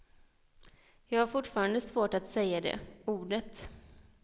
Jag har fortfarande svårt att säga det, ordet.